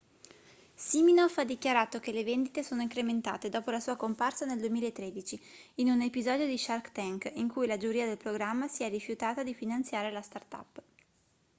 siminoff ha dichiarato che le vendite sono incrementate dopo la sua comparsa nel 2013 in un episodio di shark tank in cui la giuria del programma si è rifiutata di finanziare la startup